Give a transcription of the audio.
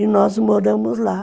E nós moramos lá.